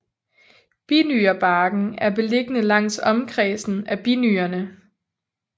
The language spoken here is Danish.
Binyrebarken er beliggende langs omkredsen af binyrerne